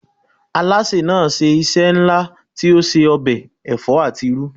Alásè náà ṣe iṣẹ́ ńlá tí ó se ọbẹ̀ ẹ̀fọ́ àti irú.